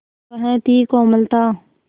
वह थी कोमलता